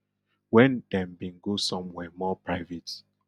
wen dem bin go somewhere more private